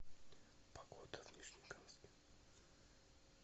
погода в нижнекамске